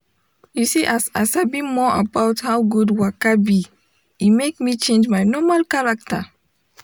you see as i sabi more about how good waka be e make me change my normal character.